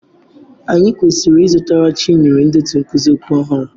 Anyị kwesịrị ịzụtara Chinyere ndetu nkuzi okwu ọhụrụ.